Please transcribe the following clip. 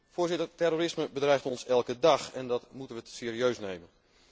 Voorzitter, terrorisme bedreigt ons elke dag en dat moeten wij serieus nemen.